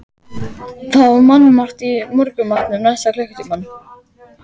Það var mannmargt í morgunmatnum næsta klukkutímann.